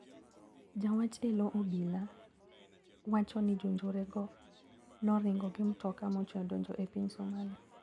Jawach eloo obila wacho ni jonjorego noringo gi mtoka mochwe odonjo e piny Somali.